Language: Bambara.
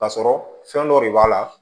Ka sɔrɔ fɛn dɔ de b'a la